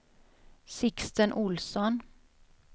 Sixten Ohlsson